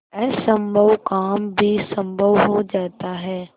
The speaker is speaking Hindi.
असम्भव काम भी संभव हो जाता है